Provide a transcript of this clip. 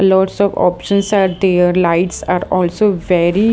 Lots of options are there lights are also very --